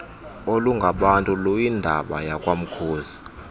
olungabantu luyindaba yakwamkhozo